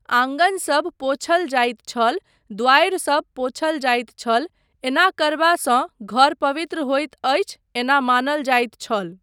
आँगनसब पोछल जाइत छल, द्वारि सब पोछल जाइत छल, एना करबासँ घर पवित्र होइत अछि एना मानल जाइत छल।